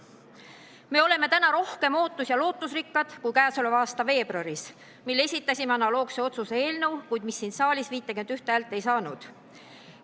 Me oleme täna rohkem ootus- ja lootusrikkad kui käesoleva aasta veebruaris, mil me esitasime analoogse otsuse eelnõu, kuid mis siin saalis 51 häält ei saanud.